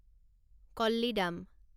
Kollidam